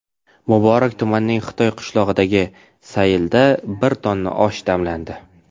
Muborak tumanining Xitoy qishlog‘idagi saylda bir tonna osh damlandi.